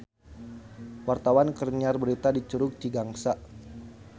Wartawan keur nyiar berita di Curug Cigangsa